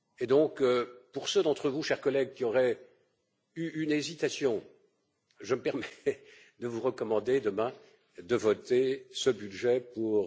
Donc, pour ceux d'entre vous, chers collègues, qui auraient eu une hésitation, je me permets de vous recommander, demain, de voter ce budget pour